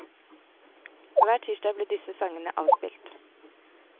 Hver tirsdag ble disse sangene avspilt.